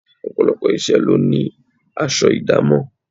Ọ̀pọ̀lọpọ̀ iṣẹ́ lo ní aṣọ idamo.